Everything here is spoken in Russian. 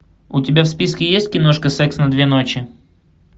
у тебя в списке есть киношка секс на две ночи